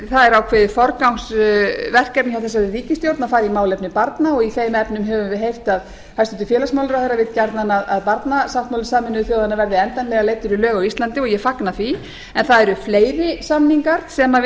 er ákveðið forgangsverkefni hjá þessari ríkisstjórn að fara í málefni barna og í þeim efnum höfum við heyrt að hæstvirtur félagsmálaráðherra vill gjarnan að barnasáttmáli sameinuðu þjóðanna verði endanlega leiddur í lög á íslandi og ég fagna því en það eru fleiri samninga sem við